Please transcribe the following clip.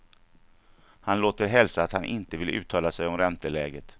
Han låter hälsa att han inte vill uttala sig om ränteläget.